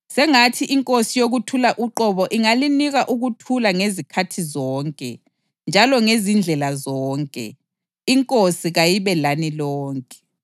Sengathi iNkosi yokuthula uqobo ingalinika ukuthula ngezikhathi zonke njalo ngezindlela zonke. INkosi kayibe lani lonke.